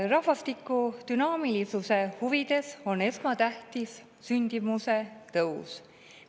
Rahvastiku dünaamilisuse huvides on esmatähtis sündimuse tõus.